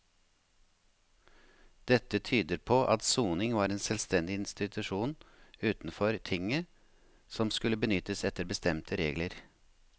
Dette tyder på at soning var en selvstendig institusjon utenfor tinget som skulle benyttes etter bestemte regler.